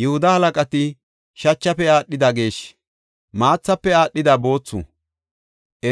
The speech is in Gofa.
Yihuda halaqati shachafe aadhida geeshshi, maathafe aadhida boothu.